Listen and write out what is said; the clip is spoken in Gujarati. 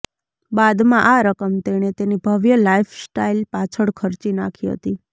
બાદમાં આ રકમ તેણે તેની ભવ્ય લાઈફસ્ટાઈલ પાછળ ખર્ચી નાખી હતી